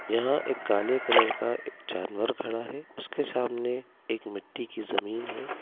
यहां एक काले कलर का एक जानवर खड़ा है उसके सामने एक मिट्टी की जमीन है।